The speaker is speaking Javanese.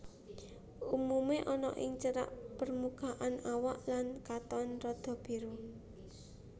Umumé ana ing cerak permukaan awak lan katon rada biru